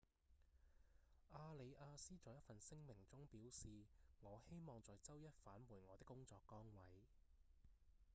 阿里亞斯在一份聲明中表示：「我希望在週一返回我的工作崗位」